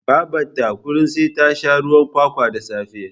Babata kullin sai ta sha ruwan kwakwa da safe